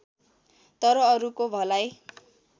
तर अरूको भलाइ